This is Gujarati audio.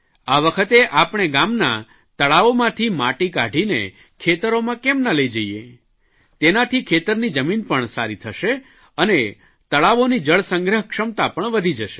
આ વખતે આપણે ગામનાં તળાવોમાંથી માટી કાઢીને ખેતરોમાં કેમ ના લઇ જઇએ તેનાથી ખેતરની જમીન પણ સારી થશે અને તળાવોની જળસંગ્રહ ક્ષમતા પણ વધી જશે